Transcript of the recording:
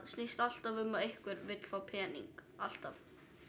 snýst alltaf um að einhver vill fá pening alltaf